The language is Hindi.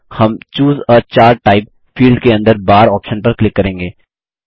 हम चूसे आ चार्ट टाइप फील्ड के अंदर बार ऑप्शन पर क्लिक करेंगे